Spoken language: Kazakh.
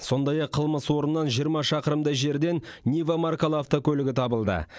сондай ақ қылмыс орнынан жиырма шақырымдай жерден нива маркалы автокөлігі табылды